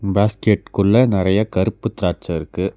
பேஸ்கெட்குள்ள நறைய கருப்பு த்ராட்ச இருக்கு.